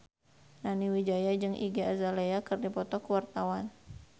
Nani Wijaya jeung Iggy Azalea keur dipoto ku wartawan